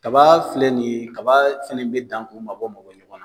Kaba filɛ nin kaba fɛnɛ bɛ dan k'u mabɔ mabɔ ɲɔgɔn na.